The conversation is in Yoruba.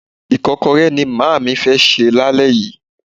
Ìkọ́kọrẹ́ ni màámi fẹ́ sè lálẹ́ yìí.